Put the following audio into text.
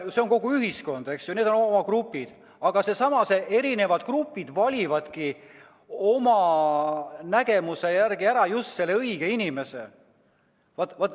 See on kogu ühiskond, eks ju, need on grupid, aga need erinevad grupid valivadki oma nägemuse järgi ära just selle õige inimese.